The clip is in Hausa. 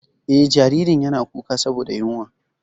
Eh, jaririn yana kuka saboda yunwa.